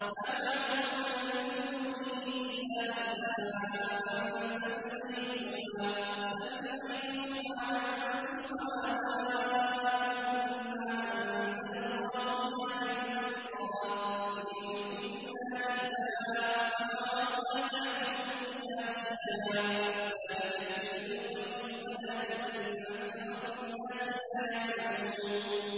مَا تَعْبُدُونَ مِن دُونِهِ إِلَّا أَسْمَاءً سَمَّيْتُمُوهَا أَنتُمْ وَآبَاؤُكُم مَّا أَنزَلَ اللَّهُ بِهَا مِن سُلْطَانٍ ۚ إِنِ الْحُكْمُ إِلَّا لِلَّهِ ۚ أَمَرَ أَلَّا تَعْبُدُوا إِلَّا إِيَّاهُ ۚ ذَٰلِكَ الدِّينُ الْقَيِّمُ وَلَٰكِنَّ أَكْثَرَ النَّاسِ لَا يَعْلَمُونَ